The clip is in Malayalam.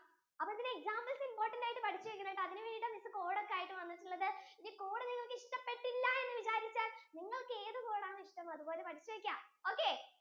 അപ്പൊ ഇതിന്റെ examples important ആയിട്ടു പേടിച്ചു വെക്കണം അതിനു വേണ്ടിട്ട നിങ്ങൾക്കു code ഒക്കെ ആയിട്ടു വന്നിട്ടുള്ളതു ഇനി code നിങ്ങൾക്കു ഇഷ്ടപെട്ടില്ല എന്ന് വിചാരിച്ചാൽ നിങ്ങൾക്കു ഏതു code ആണ് ഇഷ്ടം അതുപോലെ പഠിച്ചു വെക്കാം okay